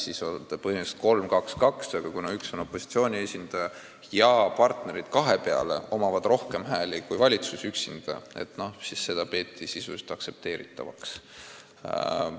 Siis oleks see mudel põhimõtteliselt 3 : 2 : 2, aga kuna üks on opositsiooni esindaja ja partneritel kahe peale on rohkem hääli kui valitsusel üksinda, siis seda peeti sisuliselt aktsepteeritavaks.